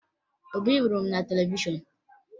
Obi hụrụ m na televishọn